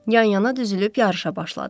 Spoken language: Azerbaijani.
Yan-yana düzülüb yarışa başladıq.